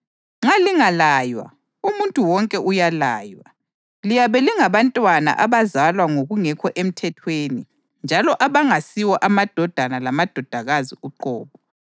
Nxa lingalaywa (umuntu wonke uyalaywa), liyabe lingabantwana abazalwa ngokungekho emthethweni njalo abangasiwo amadodana lamadodakazi uqobo.